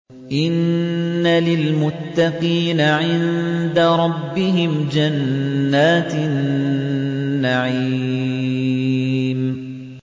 إِنَّ لِلْمُتَّقِينَ عِندَ رَبِّهِمْ جَنَّاتِ النَّعِيمِ